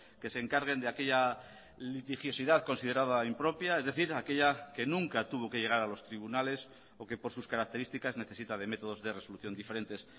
que se encarguen de aquella litigiosidad considerada impropia es decir aquella que nunca tuvo que llegar a los tribunales o que por sus características necesita de métodos de resolución diferentes